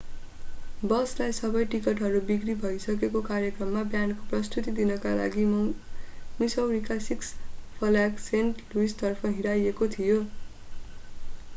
बसलाई सबै टिकटहरू बिक्री भइसकेको कार्यक्रममा ब्यान्डको प्रस्तुती दिनका लागि मिसौरीको सिक्स फ्ल्याग सेन्ट लुइसतर्फ हिँडाइएको थियो